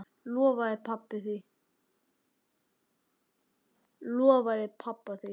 Lofaði pabba því.